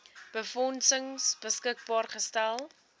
befondsing beskikbaar gestel